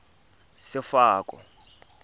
sefako